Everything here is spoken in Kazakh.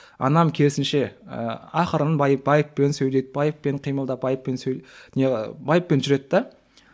анам керісінше ы ақырын байыппен сөйлеп байыппен қимылдап байыппен сөйлеп байыппен жүреді де